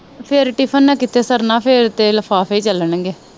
ਫਿਰ ਟਿਫਨ ਨਾ ਕਿੱਥੇ ਸਰਨਾ ਫਿਰ ਤੇ ਲਿਫਾਫੇ ਈ ਚਲਣ ਗੇ।